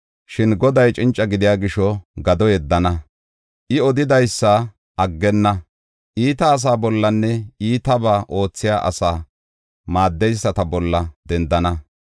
Shin Goday cinca gidiya gisho gado yeddana; I odidaysa aggenna. Iita asaa bollanne iitabaa oothiya asaa maaddeyisata bolla dendana.